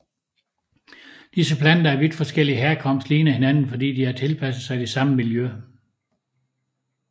Disse planter af vidt forskellig herkomst ligner hinanden fordi de har tilpasset sig det samme miljø